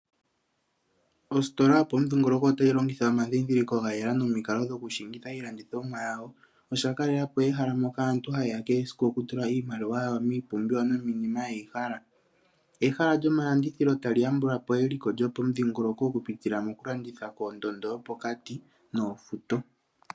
Ositola yopamudhingoloko ota yi longitha omandhindhiliko ga yela nomikalo dhokushingitha iilandithomwa yawo osha kalelapo ehala moka aantu ha yeya kehe esiku okutula iimaliwa yawo miipumbiwa nomiinima yeyi hala. Ehala lyomalandithilo ta li yambulapo eliko lyomudhingoloko okupitila mokulanditha pondondo yopokati noofuto.